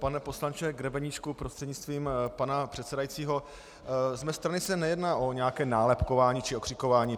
Pane poslanče Grebeníčku prostřednictvím pana předsedajícího, z mé strany se nejedná o nějaké nálepkování či okřikování.